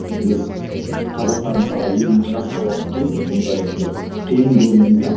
біз қазақтар мысалға еліміз жас болғаннан кейін бұндай бір қиын көрінеміз де